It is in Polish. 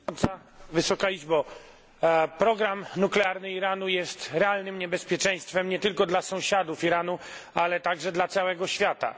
Pani Przewodnicząca! Program nuklearny Iranu jest realnym niebezpieczeństwem nie tylko dla sąsiadów Iranu, ale także dla całego świata.